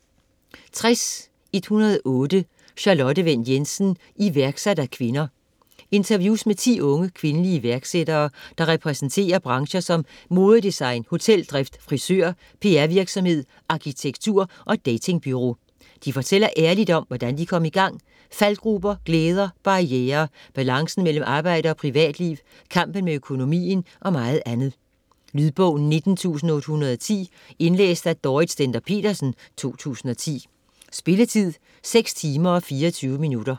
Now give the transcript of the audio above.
60.108 Wendt Jensen, Charlotte: Iværksat af kvinder Interviews med 10 unge, kvindelige iværksættere, der repræsenterer brancher som modedesign, hoteldrift, frisør, PR-virksomhed, arkitektur og datingbureau. De fortæller ærligt om, hvordan de kom i gang, faldgruber, glæder, barrierer, balancen mellem arbejde og privatliv, kampen med økonomien og meget andet. Lydbog 19810 Indlæst af Dorrit Stender-Petersen, 2010. Spilletid: 6 timer, 24 minutter.